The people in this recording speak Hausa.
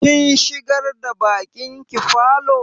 Kin shigar da baƙin ki falo?